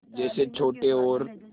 जैसे छोटे और